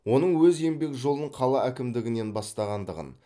оның өз еңбек жолын қала әкімдігінен бастағандығын